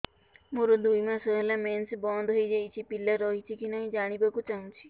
ମୋର ଦୁଇ ମାସ ହେଲା ମେନ୍ସ ବନ୍ଦ ହେଇ ଯାଇଛି ପିଲା ରହିଛି କି ନାହିଁ ଜାଣିବା କୁ ଚାହୁଁଛି